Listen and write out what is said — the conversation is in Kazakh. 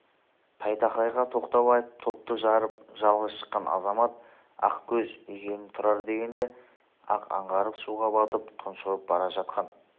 тайтақайға тоқтау айтып топты жарып жалғыз шыққан азамат ақкөз екенін тұрар дегенде-ақ аңғарып суға батып тұншығып бара жатқан